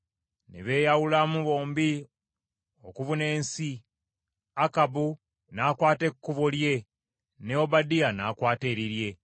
Ne beeyawulamu bombi okubuna ensi, Akabu n’akwata ekkubo lye ne Obadiya n’akwata erirye.